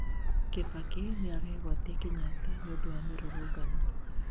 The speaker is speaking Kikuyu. kibaki nĩaregwatia Kenyatta nĩũndũ wa mĩrũrũngano